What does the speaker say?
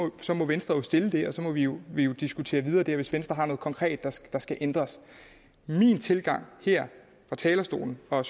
det så må venstre jo stille det og så må vi jo vi jo diskutere videre der hvis venstre har noget konkret der skal ændres min tilgang her fra talerstolen og